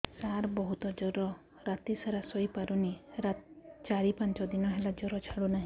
ସାର ବହୁତ ଜର ରାତି ସାରା ଶୋଇପାରୁନି ଚାରି ପାଞ୍ଚ ଦିନ ହେଲା ଜର ଛାଡ଼ୁ ନାହିଁ